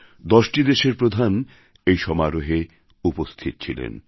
১০টি দেশের প্রধান এই সমারোহে উপস্থিত ছিলেন